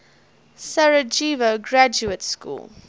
sarajevo graduate school